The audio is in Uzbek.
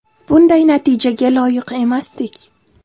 Bunday natijaga loyiq emasdik.